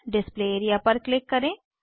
display area पर click करें